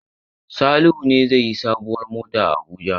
Salihu ne zai yi sabuwar mota a Abuja?